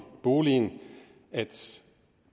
boligen at